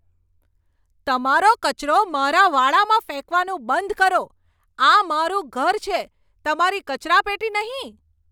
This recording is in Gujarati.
તમારો કચરો મારા વાડામાં ફેંકવાનું બંધ કરો. આ મારું ઘર છે, તમારી કચરાપેટી નહીં!